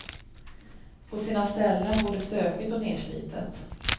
På sina ställen både stökigt och nerslitet.